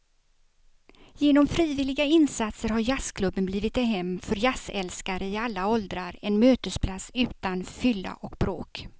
Genom frivilliga insatser har jazzklubben blivit ett hem för jazzälskare i alla åldrar, en mötesplats utan fylla och bråk.